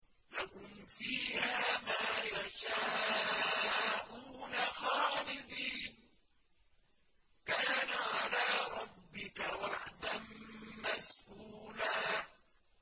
لَّهُمْ فِيهَا مَا يَشَاءُونَ خَالِدِينَ ۚ كَانَ عَلَىٰ رَبِّكَ وَعْدًا مَّسْئُولًا